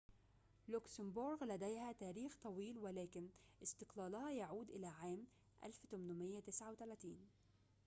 لوكسمبورغ لديها تاريخ طويل ولكن استقلالها يعود إلى عام 1839